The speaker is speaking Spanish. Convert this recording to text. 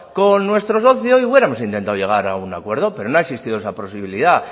con nuestro socio y hubiéramos intentado llegar a un acuerdo pero no ha existido esa posibilidad